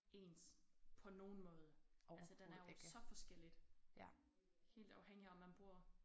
Ens på nogen måde altså den er jo så forskelligt helt afhængig om man bor